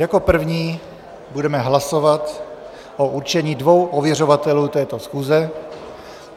Jako první budeme hlasovat o určení dvou ověřovatelů této schůze.